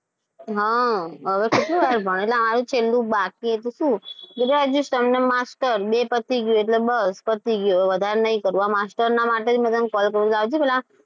હા હવે કેટલું યાર ભણવાનું છેલ્લું બાકી હતું graduation અને master બે પતી એટલે બસ પતી ગયું હવે વધારે નહીં કરવું. આ master ના માટે જ મેં તને call કર્યો